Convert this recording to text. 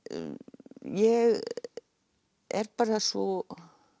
ég er bara svo